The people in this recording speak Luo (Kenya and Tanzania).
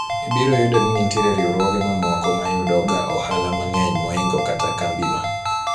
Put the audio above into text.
ibiro yudo ni nitie riwruoge mamoko mayudo ga ohala mang'eny moingo kata kambi no